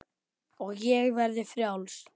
Og ég verði frjáls.